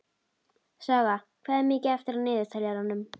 Saga, hvað er mikið eftir af niðurteljaranum?